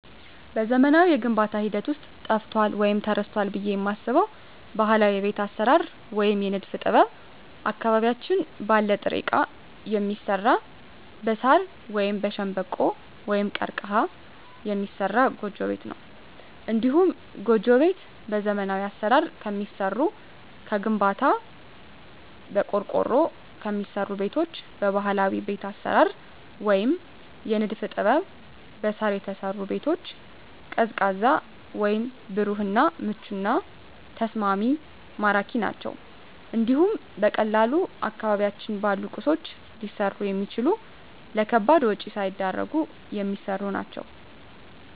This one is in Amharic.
በዘመናዊው የግንባታ ሂደት ውስጥ ጠፍቷል ወይም ተረስቷል ብየ የማስበው ባህላዊ የቤት አሰራር ወይም የንድፍ ጥበብ አካባቢያችን ባለ ጥሬ እቃ የሚሰራ በሳር ወይም በሸንበቆ(ቀርቀሀ) የሚሰራ ጎጆ ቤት ነው። እንዲሁም ጎጆ ቤት በዘመናዊ አሰራር ከሚሰሩ ከግንባታ፣ በቆርቆሮ ከሚሰሩ ቤቶች በባህላዊ ቤት አሰራር ወይም የንድፍ ጥበብ በሳር የተሰሩ ቤቶች ቀዝቃዛ ወይም ብሩህ እና ምቹና ተስማሚ ማራኪ ናቸው እንዲሁም በቀላሉ አካባቢያችን ባሉ ቁሶች ሊሰሩ የሚችሉ ለከባድ ወጭ ሳይዳርጉ የሚሰሩ ናቸው።